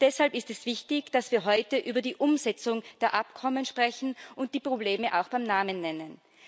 Deshalb ist es wichtig, dass wir heute über die Umsetzung der Abkommen sprechen und die Probleme auch beim Namen nennen.